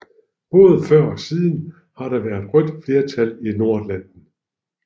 Både før og siden har der været rødt flertal i Nordatlanten